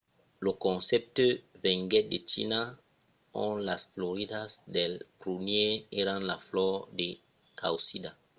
lo concèpte venguèt de china ont las floridas dels prunièrs èran la flor de causida